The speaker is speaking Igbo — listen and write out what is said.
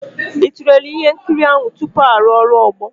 Ị tụlere ihe nkiri ahụ tupu arụ ọrụ ogbo?